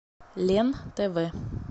лен тв